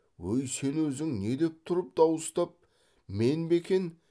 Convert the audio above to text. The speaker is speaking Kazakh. ой сен өзің не деп тұрып дауыстап мен бе екен